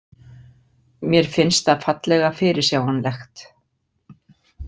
Mér finnst það fallega fyrirsjáanlegt.